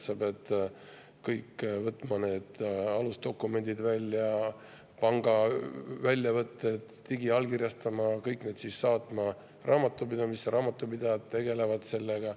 Peab võtma välja kõik alusdokumendid, panga väljavõtted, digiallkirjastama, saatma need kõik raamatupidamisse, ja raamatupidajad tegelevad sellega.